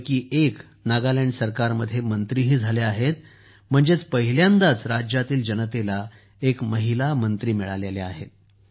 यापैकी एक नागालँड सरकारमध्ये मंत्रीही झाल्या आहेत म्हणजेच पहिल्यांदाच राज्यातील जनतेला एक महिला मंत्री मिळाल्या आहेत